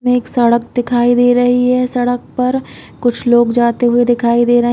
में एक सड़क दिखाई दे रही है। सड़क पर कुछ लोग जाते हुए दिखाई दे रहे हैं।